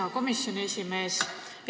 Hea komisjoni esimees!